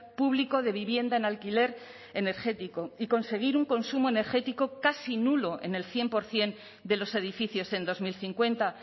público de vivienda en alquiler energético y conseguir un consumo energético casi nulo en el cien por ciento de los edificios en dos mil cincuenta